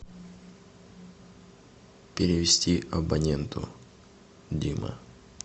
перевести абоненту дима